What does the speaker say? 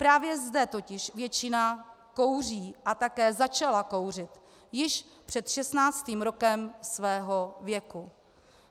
Právě zde totiž většina kouří a také začala kouřit již před 16. rokem svého věku.